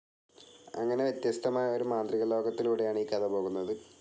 അങ്ങനെ വ്യത്യസ്തമായ ഒരു മാന്ത്രികലോകത്തിലൂടെയാണ് ഈ കഥ പോകുന്നത്.